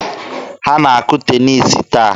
Ha na-akụ teniisi taa?